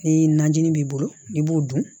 Ni najinin b'i bolo i b'o dun